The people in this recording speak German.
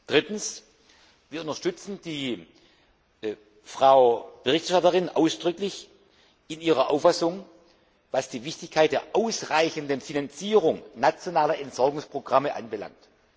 Drittens Wir unterstützen die Berichterstatterin ausdrücklich in ihrer Auffassung, was die Wichtigkeit der ausreichenden Finanzierung nationaler Entsorgungsprogramme anbelangt.